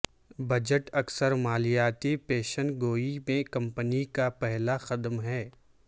budget اکثر مالیاتی پیشن گوئی میں کمپنی کا پہلا قدم ہیں